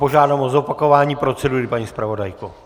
Požádám o zopakování procedury, paní zpravodajko.